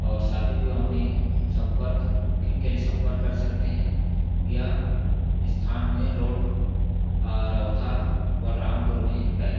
और शादी विवाह में सम्पर्क बुकिंग के लिए सम्पर्क कर सकते हैं या स्थान में रोड अरोधा बलरामपुर में है। .